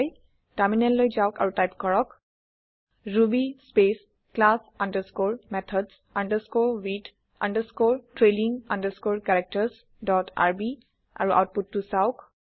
টাৰমিনেললৈ যাওক আৰু টাইপ কৰক ruby space class underscore methods underscore with underscore trailing underscore characters dot RB আৰু আওতপুতটো চাওঁক